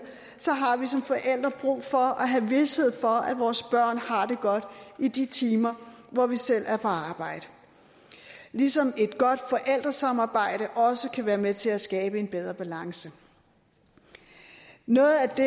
har vi som forældre brug for at have vished for at vores børn har det godt i de timer hvor vi selv er på arbejde ligesom et godt forældresamarbejde også kan være med til at skabe en bedre balance noget af det